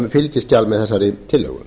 fylgiskjal með þessari tillögu